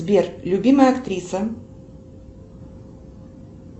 сбер любимая актриса